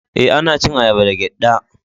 Eh, ana cin ayaba da giɗɗa.